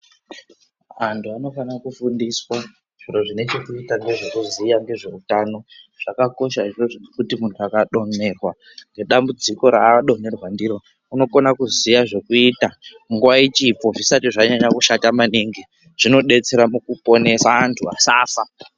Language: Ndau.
Antu anofana kufundiswa zvinhu zvinechekuita ngezvekuziya ngezveutano zvakakosha izvozvo ngekuti kana muntu akadonherwa nedambudziko raadonherwa ndiro anogona kuziya zvekuita nguva ichipo zvisati zvanyanya kushata maningi zvinodetsera mukuponesa vantu vasafa.